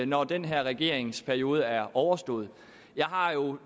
når den her regerings periode er overstået jeg har jo en